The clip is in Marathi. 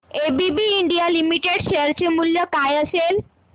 एबीबी इंडिया लिमिटेड शेअर चे मूल्य काय असेल